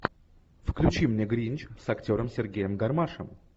включи мне гринч с актером сергеем гармашем